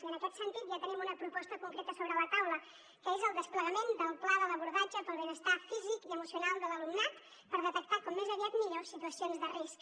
i en aquest sentit ja tenim una proposta concreta sobre la taula que és el desplegament del pla de l’abordatge pel benestar físic i emocional de l’alumnat per detectar com més aviat millor situacions de risc